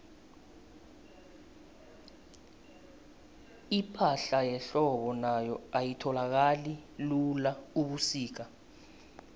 ipahla yehlobo nayo ayitholakali lula ubusika